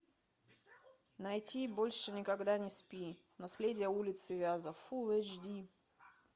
найти больше никогда не спи наследие улицы вязов фулл эйч ди